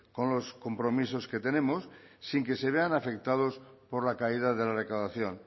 con los compromisos que tenemos sin que se vean afectados por la caída de la recaudación